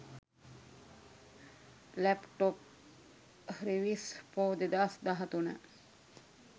laptop reviews for 2013